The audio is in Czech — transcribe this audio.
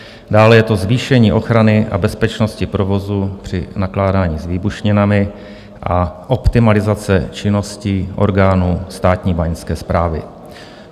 Dále je to zvýšení ochrany a bezpečnosti provozu při nakládání s výbušninami a optimalizace činností orgánů Státní báňské správy.